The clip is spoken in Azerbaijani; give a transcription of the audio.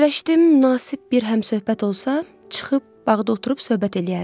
Fikirləşdim münasib bir həmsöhbət olsa, çıxıb bağda oturub söhbət eləyərdim.